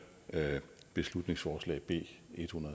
beslutningsforslag b